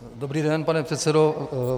Dobrý den, pane předsedo.